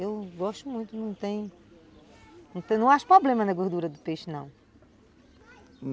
Eu gosto muito, não tem... Não acho problema na gordura do peixe, não.